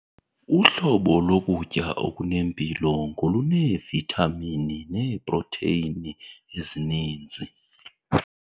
Uhlobo lokutya okunempilo ngoluneevithamini neeprotheyini ezininzi.